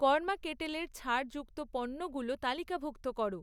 কর্মা কেটলের ছাড় যুক্ত পণ্যগুলো তালিকাভুক্ত করো